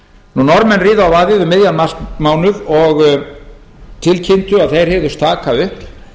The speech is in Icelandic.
norðmenn riðu á vaðið um miðjan marsmánuð og tilkynntu að þeir hygðust taka upp